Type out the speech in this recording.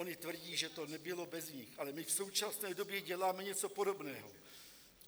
Ony tvrdí, že to nebylo bez nich, ale my v současné době děláme něco podobného.